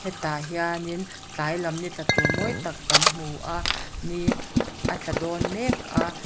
tah hianin tlai lam ni tla tur mawi tak kan hmu a nî a tla dawn mek a--